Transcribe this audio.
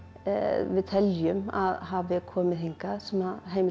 við teljum að hafi komið hingað sem heimildir